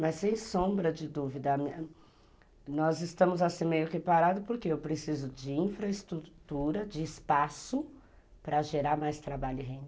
Mas sem sombra de dúvida, nós estamos assim meio que parados, porque eu preciso de infraestrutura, de espaço para gerar mais trabalho e renda.